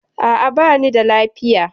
A'a, bani da lafiya.